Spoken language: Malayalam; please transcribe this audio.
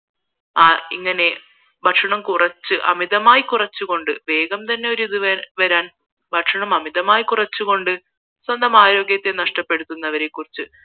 ആ ഇങ്ങനെ ഭക്ഷണം കുറച്ച് അമിതമായി കുറച്ച് കൊണ്ട് വേഗം തന്നെ ഒരിത് വരാൻ ഭക്ഷണം അമിതമായി കുറച്ച് കൊണ്ട് സ്വന്തം ആരോഗ്യത്തെ നഷ്ടപ്പെടുത്തുന്നവരെ കുറിച്ച്